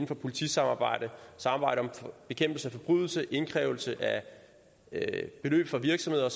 for politisamarbejdet samarbejde om bekæmpelse af forbrydelser indkrævning af beløb fra virksomheder